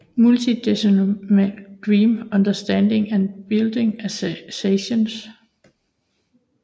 Multidimensional Dream Understanding and Bodily Associations